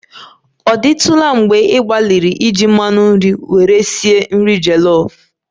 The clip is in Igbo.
Ọ dịtụla mgbe ị gbalịrị iji mmanụ nri were sie nri jollof?